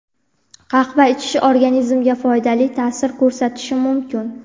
Qahva ichish organizmga foydali ta’sir ko‘rsatishi mumkin.